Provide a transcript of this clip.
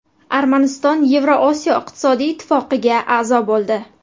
Armaniston Yevroosiyo iqtisodiy ittifoqiga a’zo bo‘ldi.